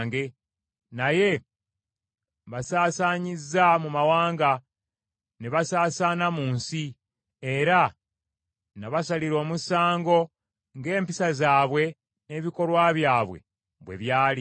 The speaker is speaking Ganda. Naye mbasaasaanyiza mu mawanga, ne basaasaana mu nsi. Era nabasalira omusango ng’empisa zaabwe n’ebikolwa byabwe bwe byali.